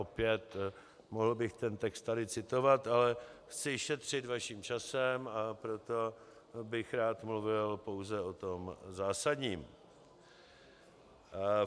Opět mohl bych ten text tady citovat, ale chci šetřit vaším časem, a proto bych rád mluvil pouze o tom zásadním.